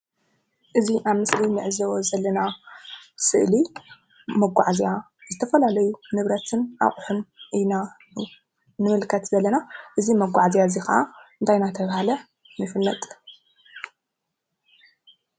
እዚ ኣብ ምስሊ እንዕዘቦ ዘለና ስእሊ ንመጋዓዝያ ዝተፈላለዩ ንብረትን ኣቑሑን ኢና ንምልከት ዘለና፡፡ እዚ መጓዓዝያ እዚ ከዓ እንታይ እንዳተባሃለ ይፍለጥ?